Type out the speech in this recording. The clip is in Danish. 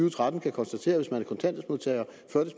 og tretten kan konstatere hvis man